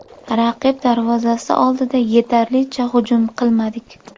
Raqib darvozasi oldida yetarlicha hujum qilmadik.